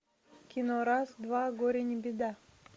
кино раз два горе не беда